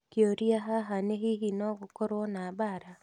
Kĩũria haha nĩ hihi no gũkorwo na mbaara?